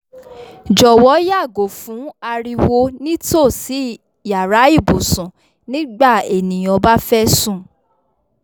jọwọ yàgò fún ariwo ni tosí yàrá ibùsùn nígbà ènìyàn bá fẹ sùn